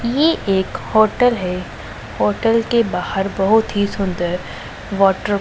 ये एक होटल है होटल के बाहर बहोत ही सुंदर वाटर --